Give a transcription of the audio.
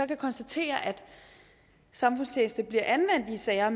kan konstatere at samfundstjeneste bliver anvendt i sager